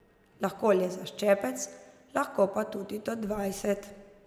Lahko le za ščepec, lahko pa tudi do dvajset.